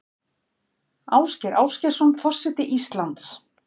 Ásgeir Ásgeirsson forseti Íslands